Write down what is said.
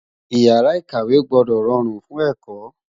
Ìyàrá-ìkàwé gbọ́dọ̀ rọrùn fún ẹ̀kọ́.